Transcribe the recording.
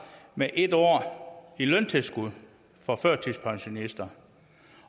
med en år i løntilskud for førtidspensionister